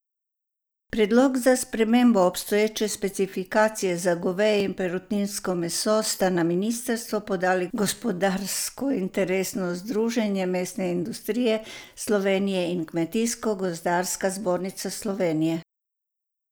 Predlog za spremembo obstoječe specifikacije za goveje in perutninsko meso sta na ministrstvo podali gospodarsko interesno združenje mesne industrije Slovenije in Kmetijsko gozdarska zbornica Slovenije.